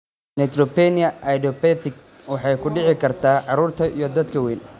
Neutropenia idiopathic waxay ku dhici kartaa carruurta iyo dadka waaweyn.